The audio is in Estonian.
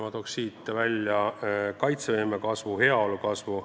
Ma toon välja kaitsevõime ja heaolu kasvu.